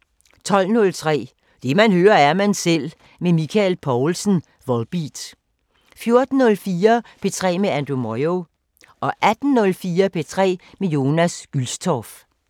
12:03: Det man hører, er man selv med Michael Poulsen, Volbeat 14:04: P3 med Andrew Moyo 18:04: P3 med Jonas Gülstorff